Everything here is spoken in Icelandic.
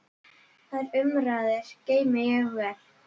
Þær umræður geymi ég vel.